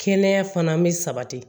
Kɛnɛya fana bɛ sabati